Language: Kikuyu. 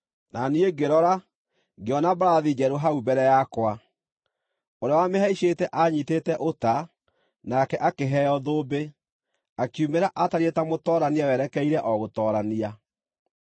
Na niĩ ngĩrora, ngĩona mbarathi njerũ hau mbere yakwa! Ũrĩa wamĩhaicĩte aanyiitĩte ũta, nake akĩheo thũmbĩ, akiumĩra atariĩ ta mũtoorania werekeire o gũtoorania.